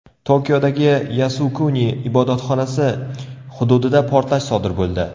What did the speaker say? Tokiodagi Yasukuni ibodatxonasi hududida portlash sodir bo‘ldi.